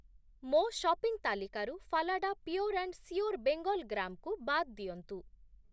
ମୋ ସପିଂ ତାଲିକାରୁ Phalada pure and sure Bengal gram କୁ ବାଦ୍ ଦିଅନ୍ତୁ ।